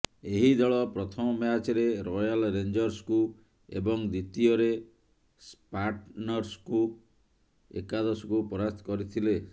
ଏହି ଦଳ ପ୍ରଥମ ମ୍ୟାଚ୍ରେ ରୟାଲ ରେଞ୍ଜର୍ସକୁ ଏବଂ ଦ୍ବିତୀୟରେ ସ୍ପାର୍ଟନ୍ସ ଏକାଦଶକୁ ପରାସ୍ତ କରିଥିଲେ